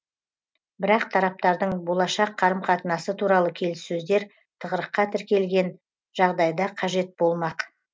бірақ тараптардың болашақ қарым қатынасы туралы келіссөздер тығырыққа тірелген жағдайда қажет болмақ